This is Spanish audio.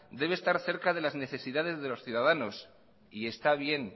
debe estar cerca de las necesidades de los ciudadanos y está bien